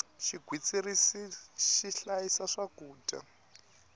xigwitsirisi xi hlayisa swakudya